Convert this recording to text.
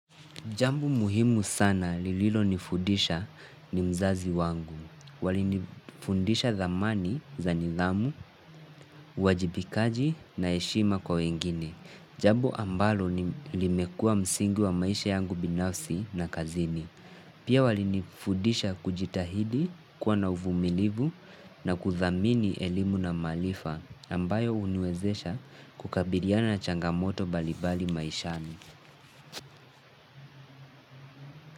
Jamu muhimu sana lililonifudisha ni mzazi wangu. Walinifundisha thamani, za nidhamu, uwajibikaji na heshima kwa wengine. Jambo ambalo, limekua msingi wa maisha yangu binafsi na kazini. Pia walinifudisha kujitahidi, kuwa na uvumilivu na kuthamini elimu na maalifa, ambayo uniwezesha kukabiliana na changamoto balibali maishani.